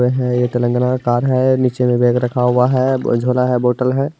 है ये तिलंगना कार है | नीचे में बैग रखा हुआ है अ झोला है बोटल है।